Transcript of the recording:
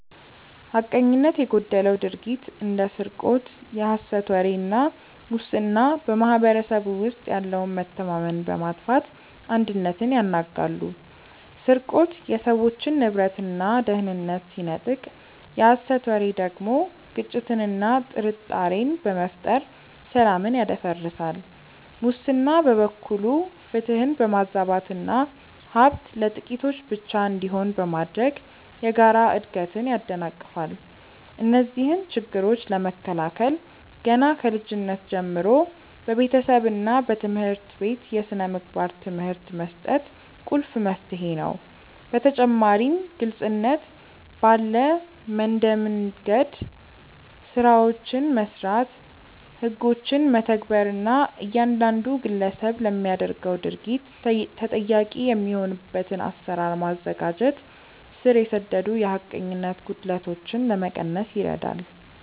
ሐቀኝነት የጎደለው ድርጊት እንደ ስርቆት፣ የሐሰት ወሬ እና ሙስና በማኅበረሰቡ ውስጥ ያለውን መተማመን በማጥፋት አንድነትን ያናጋሉ። ስርቆት የሰዎችን ንብረትና ደህንነት ሲነጥቅ፣ የሐሰት ወሬ ደግሞ ግጭትንና ጥርጣሬን በመፍጠር ሰላምን ያደፈርሳል። ሙስና በበኩሉ ፍትህን በማዛባትና ሀብት ለጥቂቶች ብቻ እንዲሆን በማድረግ የጋራ እድገትን ያደናቅፋል። እነዚህን ችግሮች ለመከላከል ገና ከልጅነት ጀምሮ በቤተሰብና በትምህርት ቤት የሥነ ምግባር ትምህርት መስጠት ቁልፍ መፍትሄ ነው። በተጨማሪም ግልጽነት ባለ መንደምገድ ስራዎችን መስራት፣ ህጎችን መተግበር እና እያንዳንዱ ግለሰብ ለሚያደርገው ድርጊት ተጠያቂ የሚሆንበትን አሰራር ማዘጋጀት ስር የሰደዱ የሐቀኝነት ጉድለቶችን ለመቀነስ ይረዳል።